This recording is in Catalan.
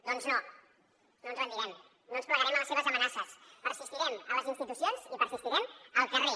doncs no no ens rendirem no ens plegarem a les seves amenaces persistirem a les institucions i persistirem al carrer